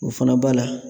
O fana b'a la